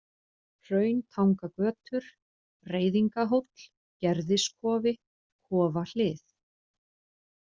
Hrauntangagötur, Reiðingahóll, Gerðiskofi, Kofahlið